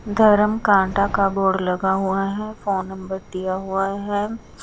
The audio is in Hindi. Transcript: धरम कांटा का बोर्ड लगा हुआ है फोन नंबर दिया हुआ है।